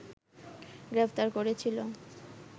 গ্রেপ্তার করেছিল